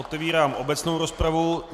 Otevírám obecnou rozpravu.